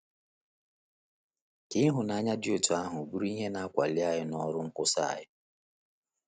Ka ịhụnanya dị otú ahụ bụrụ ihe na-akpali anyị n’ọrụ nkwusa anyị!